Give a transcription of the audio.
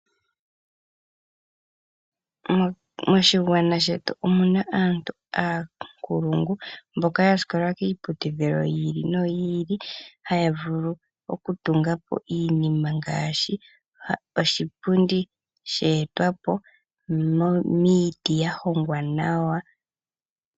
Moshigwana shetu omuna aantu oonkulungu mboka ya sikola kiiputudhilo yi ili noyi ili haya vulu okweeta po iinima ngaashi iipundi yeetwa po okuza miiti ya hongwa nawa.